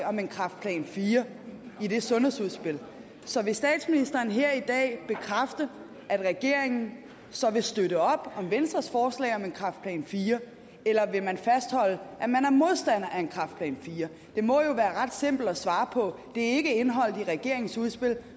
om en kræftplan fire i det sundhedsudspil så vil statsministeren her i dag bekræfte at regeringen så vil støtte op om venstres forslag om en kræftplan fire eller vil man fastholde at man er modstander af en kræftplan 4 det må jo være ret simpelt at svare på det er ikke indeholdt i regeringens udspil